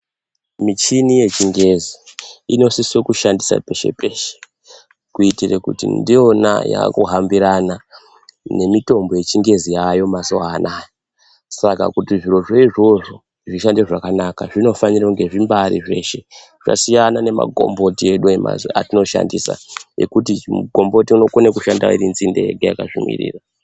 Michini yechingezi inosise kushandiswa peshe-peshe, kuitire kuti ndiyona yakuhambirana nemitombo yechingezi yaayo mazuva anaya. Saka kuti zviro zvoizvozvo zvishande zvakanaka zvinofane kuti zvimbaari zveshe, zvasiyana nemagomboti edu etinoshandisa ngekuti migomboti inokona kushanda irinzinde yega yakazvimirira.